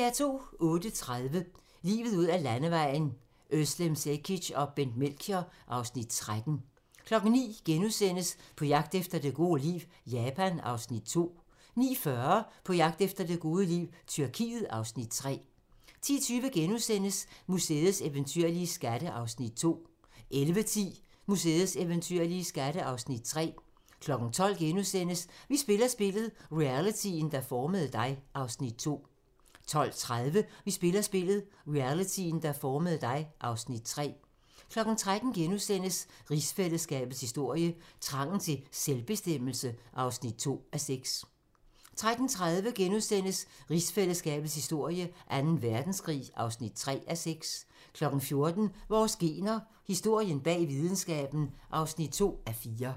08:30: Livet ud ad landevejen: Özlem Cekic og Bent Melchior (Afs. 13) 09:00: På jagt efter det gode liv - Japan (Afs. 2)* 09:40: På jagt efter det gode liv - Tyrkiet (Afs. 3) 10:20: Museets eventyrlige skatte (Afs. 2)* 11:10: Museets eventyrlige skatte (Afs. 3) 12:00: Vi spiller spillet - realityen, der formede dig (Afs. 2)* 12:30: Vi spiller spillet - realityen, der formede dig (Afs. 3) 13:00: Rigsfællesskabets historie: Trangen til selvbestemmelse (2:6)* 13:30: Rigsfællesskabets historie: Anden Verdenskrig (3:6)* 14:00: Vores gener - historien bag videnskaben (2:4)